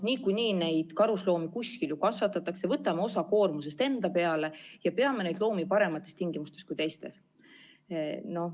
Niikuinii neid karusloomi kuskil ju kasvatatakse, võtame osa koormusest enda peale ja peame neid loomi paremates tingimustes kui teised.